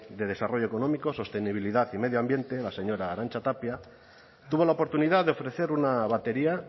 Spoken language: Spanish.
de desarrollo económico sostenibilidad y medio ambiente la señora arantza tapia tuvo la oportunidad de ofrecer una batería